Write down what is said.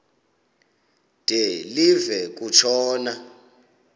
de live kutshona